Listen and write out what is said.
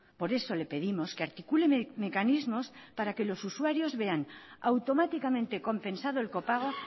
por eso le pedimos que articulen mecanismos para que los usuarios vean automáticamente compensado el copago